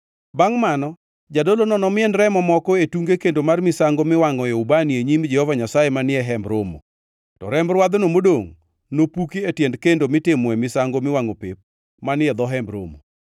Bangʼ mano jadolono nomien remo moko e tunge kendo mar misango miwangʼoe ubani e nyim Jehova Nyasaye manie Hemb Romo. To remb rwadhno modongʼ nopuki e tiend kendo mitimoe misango miwangʼo pep manie dho Hemb Romo.